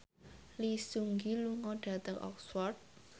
Lee Seung Gi lunga dhateng Oxford